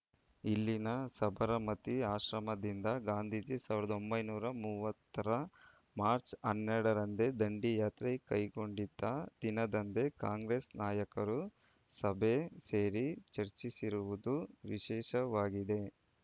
ಇಲ್ಲಿನ ಸಬರಮತಿ ಆಶ್ರಮದಿಂದ ಗಾಂಧೀಜಿ ಸಾವಿರದ ಒಂಬೈನೂರ ಮೂವತ್ತರ ಮಾರ್ಚ್ ಹನ್ನೆರಡರಂದೇ ದಂಡಿಯಾತ್ರೆ ಕೈಗೊಂಡಿದ್ದ ದಿನದಂದೇ ಕಾಂಗ್ರೆಸ್ ನಾಯಕರು ಸಭೆ ಸೇರಿ ಚರ್ಚಿಸಿರುವುದು ವಿಶೇಷವಾಗಿದೆ